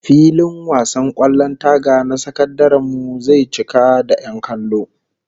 Filin wasan kwallon taga na sakandaren mu zai cika da 'yan kallo